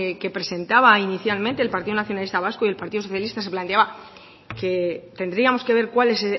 que presentaba inicialmente el partido nacionalista vasco y el partido socialista se planteaba que tendríamos que ver cuál es